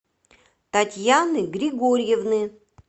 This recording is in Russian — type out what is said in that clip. татьяны григорьевны